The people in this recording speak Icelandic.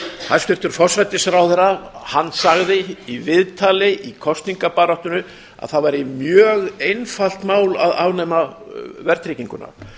hæstvirtur forsætisráðherra sagði í viðtali í kosningabaráttunni að það væri mjög einfalt mál að afnema verðtrygginguna